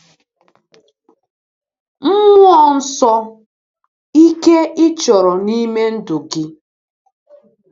Mmụọ Nsọ- Ike ị chọrọ n’ime ndụ gị.